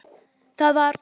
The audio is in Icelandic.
Það var